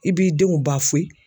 I b'i denw